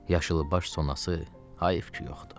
Yaşılbaş sonası heyf ki, yoxdu.